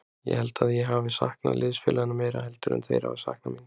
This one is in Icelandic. Ég held að ég hafi saknað liðsfélaganna meira heldur en þeir hafi saknað mín.